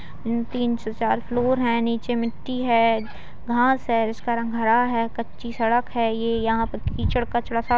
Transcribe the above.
तीन से चार फ्लोर है नीचे मिट्टी है घास है उस का रंग हरा है कच्ची सड़क है ये यहाँ पे कीचड़ कचड़ा --